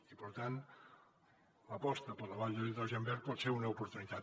i per tant l’aposta per la vall de l’hidrogen verd pot ser una oportunitat